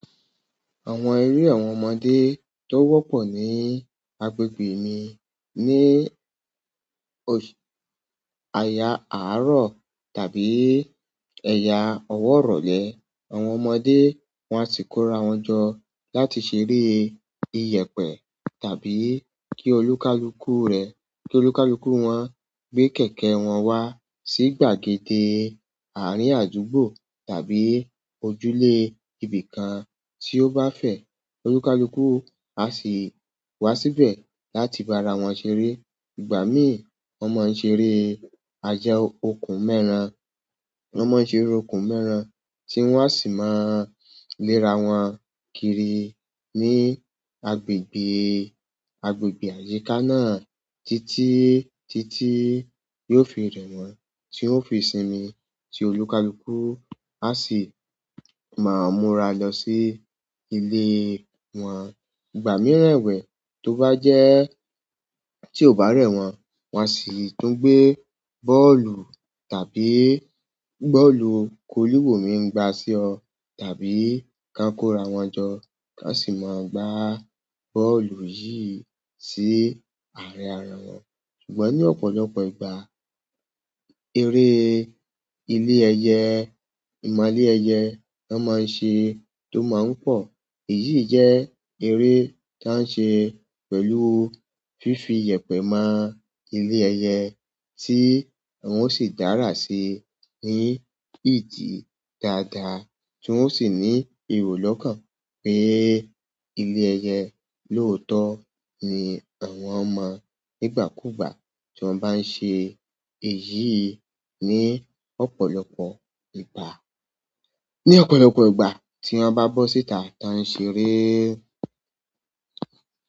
Àwọn eré àwọn ọmọdé tó wọ́pọ̀ ní agbègbè mi ní òṣ-- aya àárọ̀ tàbí ẹ̀ya ọwọ́ rọ̀lẹ́. Àwọn ọmọdé wọ́n á si kó ara wọn jọ láti ṣeré ìyẹ̀pẹ̀ tàbí kí olúkalúkù rẹ̀-- kí olúkalúkù wọn gbé kẹ̀kẹ́ wọn wá sí gbàgede àárín àdúgbò tàbí ojúlé ibi kan tí ó bá fẹ́. Olúkalúkù á sì wá síbẹ̀ láti bá ara wọn ṣeré. Ìgbà mí, wọ́n máa ń ṣe eré ajá òkun mẹ́ran. Wọ́n máa ń ṣe eré òkun mẹ́ran tí wọ́n á sì máa léra wọn kiri ní agbègbè, agbègbè àyíká náà títí, títí yóò fi rẹ̀ wọ́n tí ó fi sinmi tí olúkalúkù á sì máa múra lọ sí ilé wọn. Ìgbà mìíràn ẹ̀wẹ̀, tó bá jẹ́ tí ó bá rẹ̀ wọ́n, wọ́n á sì tún gbé bọ́ọ̀lù tàbí bọ́ọ̀lù gólí wò mi n gba sí ọ tàbí kán kó ara wọn jọ kán sì máa gba bọ́ọ̀lù yìí sí àárín ara wọn. Ṣùgbọ́n ní ọ̀pọ̀lọpọ̀ ìgbà, eré ilé ẹyẹ, ìmole ẹyẹ na máa ń ṣe, tó máa ń pọ̀. Èyí jẹ́ eré tan ń ṣe pẹ̀lú fífi ìyẹ̀pẹ̀ mọ ilé ẹyẹ tí wọ́n o sì dára sí i ní ìdí dáadáa tí wọ́n sì ní iro kan pé ilé ẹyẹ lóótọ́ ni àwọn mọ nígbà kúùgbà tí wọ́n bá ń ṣe èyí ní ọ̀pọ̀lọpọ̀ ìgbà. Ní ọ̀pọ̀lọpọ̀ ìgbà tí wọ́n bá bọ́ síta, tan ṣeré.